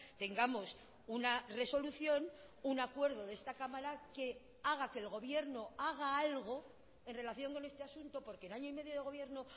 tengamos una resolución un acuerdo de esta cámara que haga que el gobierno haga algo en relación con este asunto porque en año y medio de gobierno